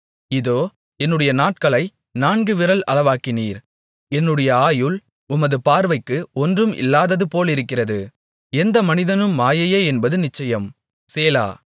இதோ என்னுடைய நாட்களை நான்கு விரல் அளவாக்கினீர் என்னுடைய ஆயுள் உமது பார்வைக்கு ஒன்றும் இல்லாதது போலிருக்கிறது எந்த மனிதனும் மாயையே என்பது நிச்சயம் சேலா